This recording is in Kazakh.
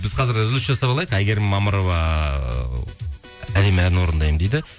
біз қазір үзіліс жасап алайық әйгерім мамырова ы әдемі ән орындаймын дейді